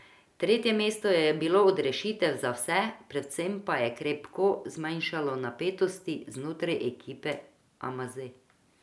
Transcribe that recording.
Tretje mesto je bilo odrešitev za vse, predvsem pa je krepko zmanjšalo napetosti znotraj ekipe aMaze.